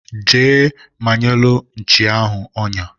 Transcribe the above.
Jee manyelu nchi onya